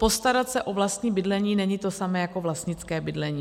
Postarat se o vlastní bydlení není to samé jako vlastnické bydlení.